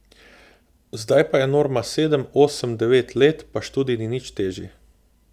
Zdaj pa je norma sedem, osem, devet let, pa študij ni nič težji.